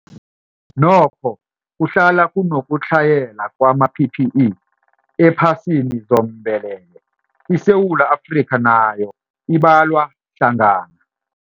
Nokho, kuhlala kunokutlhayela kwama-PPE ephasini zombelele, iSewula Afrika nayo ibalwa hlangana.